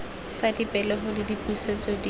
tsa dipegelo le dipusetso di